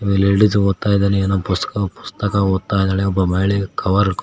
ladies ಓದ್ತಾ ಇದಾನೆ ಏನೋ ಪುಸ್ತಕ ಪುಸ್ತಕ ಓದ್ತಾ ಇದಾಳೆ ಒಬ್ಬ ಮಹಿಳೆ ಕವರ್ --